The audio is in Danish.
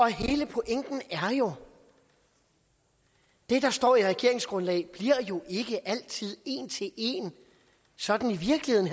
hele pointen er jo at det der står i regeringsgrundlaget ikke altid en til en sådan i virkeligheden